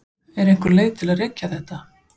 Er einhver leið að rekja þetta?